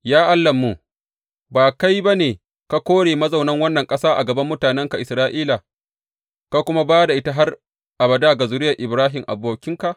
Ya Allahnmu, ba kai ba ne ka kore mazaunan wannan ƙasa a gaban mutanenka Isra’ila ka kuma ba da ita har abada ga zuriyar Ibrahim abokinka?